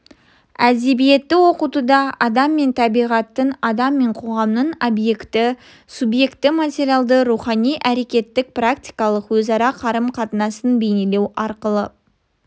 әдебиетті оқытуда адам мен табиғаттың адам мен қоғамның объективті-суъективті материалды-рухани әрекеттік практикалық өзара қарым-қатынасын бейнелеу арқылы